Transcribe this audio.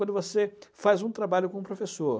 Quando você faz um trabalho como professor...